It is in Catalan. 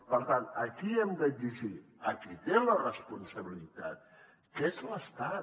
per tant a qui hem d’exigir a qui té la responsabilitat que és l’estat